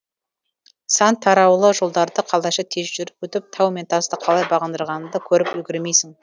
сан тараулы жолдарды қалайша тез жүріп өтіп тау мен тасты қалай бағындырғанын да көріп үлгермейсің